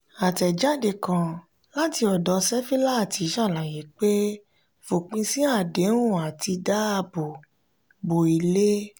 àtẹ̀jade kàn láti ọdọ sefilaati sàlàyé pé fòpin sí àdéhùn àti dáàbò bo ilé.